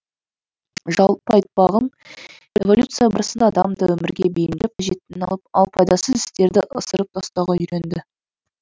жалпы айтпағым эволюция барысында адам да өмірге бейімделіп қажеттіні алып ал пайдасыз істерді ысырып тастауға үйренді